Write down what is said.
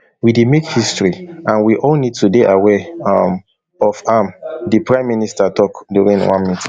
we dey make history and we all need to dey aware um of am di prime minister tok during one meeting